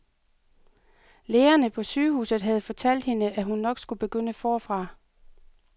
Lægerne på sygehuset havde fortalt hende, at hun nok skulle begynde forfra.